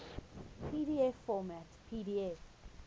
pdf format pdf